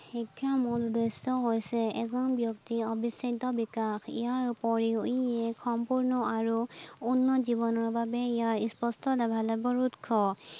শিক্ষাৰ মূল উদ্দেশ্য হৈছে এজন ব্যক্তিৰ অভিসাধ্য বিকাশ, ইয়াৰ উপৰিও ই এক সম্পূৰ্ণ আৰু উন্নত জীৱনৰ বাবে ইয়াৰ স্পষ্ট লাভালাভৰ উৎস।